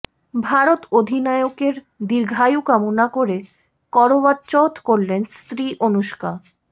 ভারত অধিনায়কের দীর্ঘায়ু কামনা করে করওয়াচৌথ করলেন স্ত্রী অনুষ্কা